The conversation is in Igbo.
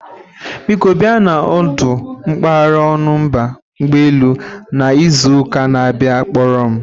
Biko bia na ọdụ mpaghara Ọnụ mba ụgbọ elu na izu ụka na-abịa ịkpọrọ m